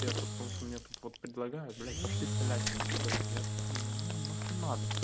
интересно потому что у меня тут вот предлагаю блять пошли солятины ебанем я вот думаю нахуй надо